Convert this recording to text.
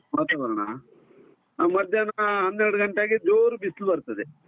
ವಾತಾವರಣ, ಆ ಮಧ್ಯಾಹ್ನ ಹನ್ನೆರಡು ಗಂಟೆಗೆ ಜೋರ್ ಬಿಸ್ಲು ಬರ್ತದೆ.